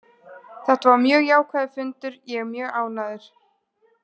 Þetta var mjög jákvæður fundur, ég er mjög ánægður.